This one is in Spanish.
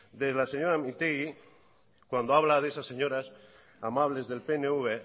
de la señora mintegui cuando habla de esas señoras amables del pnv